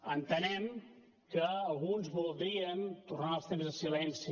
entenem que alguns voldrien tornar als temps de silenci